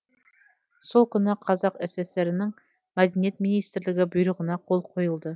сол күні қазақ сср інің мәдениет министрлігі бұйрығына қол қойылды